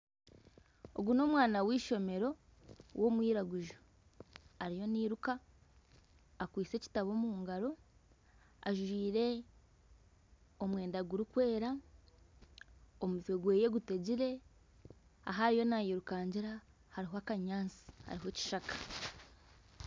Ogu ni omwana w'ishomero w'omwiraguju ariyo nayiruka, akwitse ekitabo omungaro, ajwire omwenda gurikwera, omutwe gweye gutegire. Ahi ariyo nayirukangira hariho akanyaatsi hariho ekishaka